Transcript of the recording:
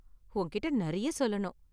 உன்கிட்டே நிறைய சொல்லணும்.